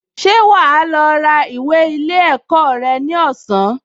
Ṣé wà á lọ ra ìwé ilé ẹ̀kọ́ rẹ ní ọ̀sán?